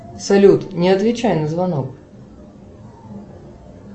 салют не отвечай на звонок